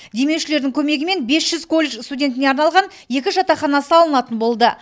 демеушілердің көмегімен бес жүз колледж студентіне арналған екі жатақхана салынатын болды